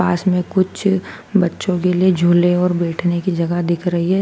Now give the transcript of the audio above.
पास में कुछ बच्चों के लिए झूले और बैठने की जगह दिख रही हैं।